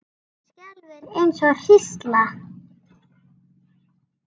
Hann skelfur eins og hrísla.